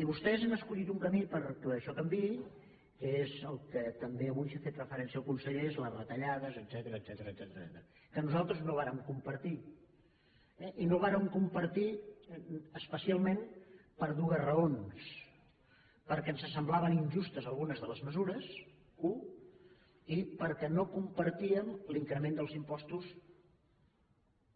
i vostès han escollit un camí perquè això canviï que és al que també avui ha fet referència el conseller que és les retallades etcètera que nosaltres no vàrem compartir eh i no ho vàrem compartir especialment per dues raons perquè ens semblaven injustes algunes de les mesures u i perquè no compartíem l’increment dels impostos